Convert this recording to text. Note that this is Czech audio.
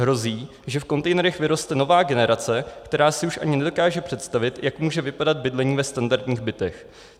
Hrozí, že v kontejnerech vyroste nová generace, která si už ani nedokáže představit, jak může vypadat bydlení ve standardních bytech.